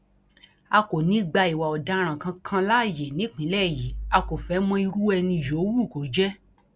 a kò ní í gba ìwà ọdaràn kankan láàyè nípínlẹ yìí a kò fẹẹ mọ irú ẹni yòówù kó jẹ